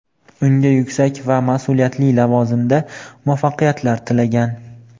unga yuksak va mas’uliyatli lavozimda muvaffaqiyatlar tilagan.